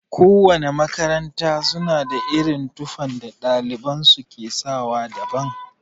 Kowana makaranta suna da irin tufan da ɗaliban su ke sawa daban.